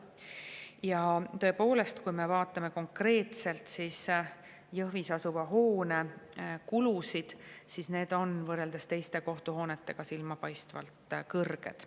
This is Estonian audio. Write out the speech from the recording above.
Ja tõepoolest, kui me vaatame konkreetselt Jõhvis asuva hoone kulusid, siis need on võrreldes teiste kohtuhoonete kuludega silmapaistvalt kõrged.